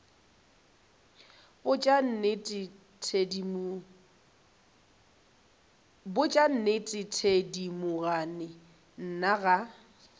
botša nnete thedimogane nna ga